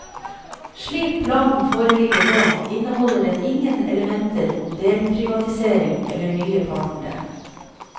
Slik planen foreligger nå, inneholder den ingen elementer om delprivatisering eller nye partnere.